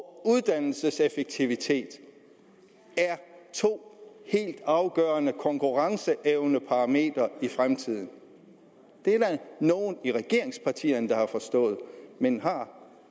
uddannelseseffektivitet er to helt afgørende konkurrenceevneparametre i fremtiden det er der nogle i regeringspartierne der har forstået men har